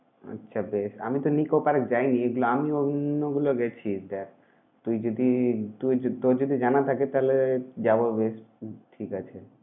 আচ্ছা বেশ! আমি তো nicco park এ যাইনিএগুলা আমিও অন্যগুলো গেছি। দেখ তুই যদি তুই য~ তোর যদি জানা থাকে তাহলে যাব বেশ। ঠিক আছে।